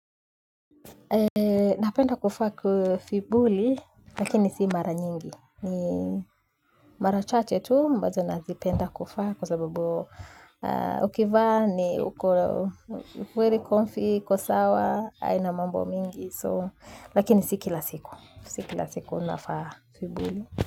Napenda kufa kufibuli, lakini si mara nyingi. Mara chate tu, ambazo nazipenda kufa. Kwa sababu ukivaa ni, ukweli konfi, kosawa. Aina mambo mingi. Lakini si kila siku, si kila siku nafaa kufibuli.